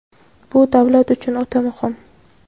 Bu — davlat uchun o‘ta muhim.